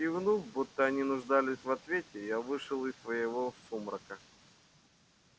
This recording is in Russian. кивнув будто они нуждались в ответе я вышел из своего сумрака